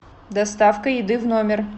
доставка еды в номер